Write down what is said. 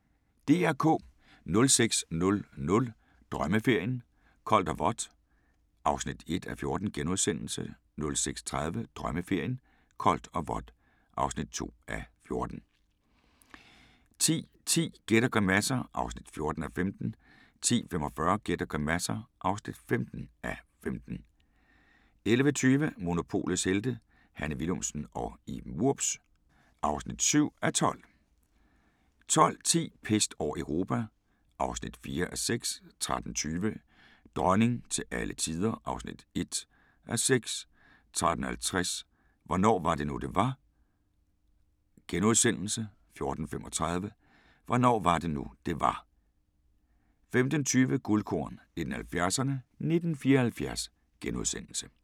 06:00: Drømmeferien: Koldt og vådt (1:14)* 06:30: Drømmeferien: Koldt og vådt (2:14) 10:10: Gæt og grimasser (14:15) 10:45: Gæt og grimasser (15:15) 11:20: Monopolets Helte – Hanne Willumsen og Iben Wurbs (7:12) 12:10: Pest over Europa (4:6) 13:20: Dronning til alle tider (1:6) 13:50: Hvornår var det nu, det var? * 14:35: Hvornår var det nu, det var? 15:20: Guldkorn 1970'erne: 1974 *